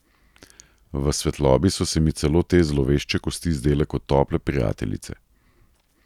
V svetlobi so se mi celo te zlovešče kosti zdele kot tople prijateljice.